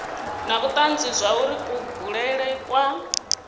na vhutanzi zwauri kubulele kwa